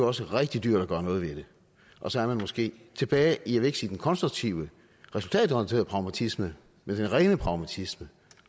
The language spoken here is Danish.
også rigtig dyrt at gøre noget ved det og så er man måske tilbage i jeg vil ikke sige den konstruktive resultatorienterede pragmatisme men den rene pragmatisme